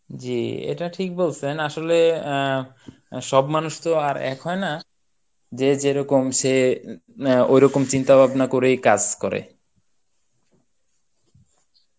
জী এটা ঠিক বলছেন আসলে আহ সব মানুষ তো আর এক হয় না যে যেরকম সে আহ ওই রকম চিন্তা ভাবনা করেই কাজ করে